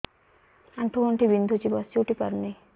ଆଣ୍ଠୁ ଗଣ୍ଠି ବିନ୍ଧୁଛି ବସିଉଠି ପାରୁନି